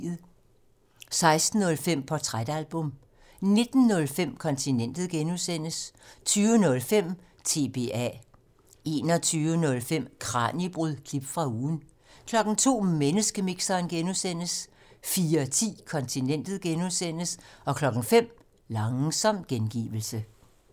16:05: Portrætalbum 19:05: Kontinentet (G) 20:05: TBA 21:05: Kraniebrud – klip fra ugen 02:00: Menneskemixeren (G) 04:10: Kontinentet (G) 05:00: Langsom gengivelse